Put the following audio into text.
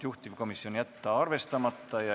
Juhtivkomisjoni otsus: jätta arvestamata.